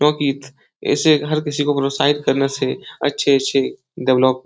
इसे हर किसी को प्रोत्साहित करने से अच्छे-अच्छे डेवेलोप --